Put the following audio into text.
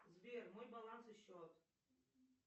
сбер мой баланс и счет